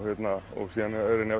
og síðan reyni